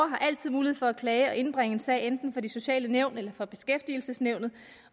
har altid mulighed for at klage og indbringe en sag enten for det sociale nævn eller for beskæftigelsesnævnet